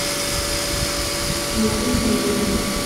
найди фильм